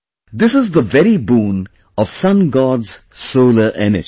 This is the very boon of Sun God's solar energy